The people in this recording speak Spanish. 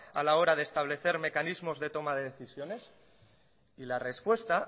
a la hora de establecer mecanismos de toma de decisiones y la respuesta